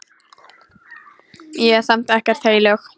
Ég er samt ekkert heilög.